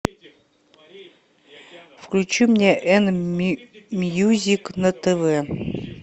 включи мне н мьюзик на тв